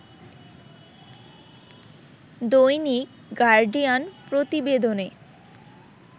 দৈনিক গার্ডিয়ান প্রতিবেদনে